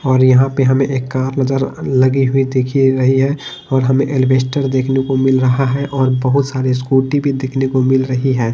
और यहां पे हमें एक कार नजर लगी हुई दिख रही है और हमें एल्वेस्टर देखने को मिल रहा है और बहुत सारी स्कूटी भी देखने को मिल रही है।